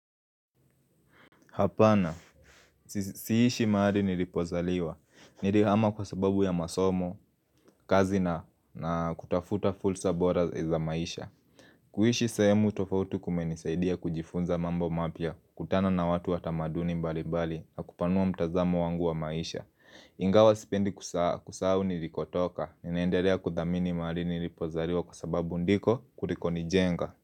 Hapana, siishi mahali nilipozaliwa, nilihama kwa sababu ya masomo, kazi na kutafuta fursa bora za maisha kuishi sahemu tofauti kumenisaidia kujifunza mambo mapya, kukutana na watu wa tamaduni mbalibali, na kupanua mtazamo wangu wa maisha Ingawa sipendi kusahau nilikotoka, ninaendelea kuthamini mahali nilipozaliwa kwa sababu ndiko kuliko nijenga.